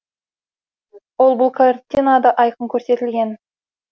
ол бұл картинада айқын көрсетілген